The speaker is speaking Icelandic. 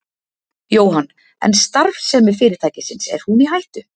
Jóhann: En starfsemi fyrirtækisins, er hún í hættu?